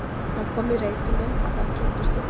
Hann kom í reitinn minn og þar kynntumst við.